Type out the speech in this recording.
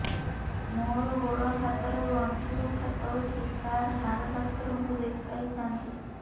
ମୋର ଗୋଡ ହାତ ର ଗଣ୍ଠି ବଥା କରୁଛି ସାର ହାଡ଼ ଡାକ୍ତର ଙ୍କୁ ଦେଖାଇ ଥାନ୍ତି